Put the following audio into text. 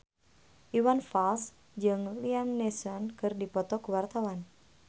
Iwan Fals jeung Liam Neeson keur dipoto ku wartawan